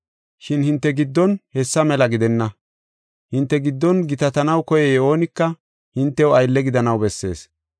Shin hinte giddon hessa mela gidenna; hinte giddon gitatanaw koyey oonika hintew aylle gidanaw bessees.